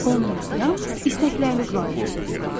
Onunla yalnız istəkləriniz barədə söhbət edin.